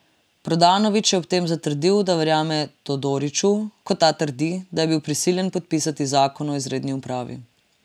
Prodanović je ob tem zatrdil, da verjame Todoriću, ko ta trdi, da je bil prisiljen podpisati zakon o izredni upravi.